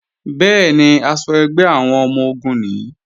Bẹ́ẹ̀ni, aṣọ ẹgbẹ́ àwọn ọmọ-ogun nìí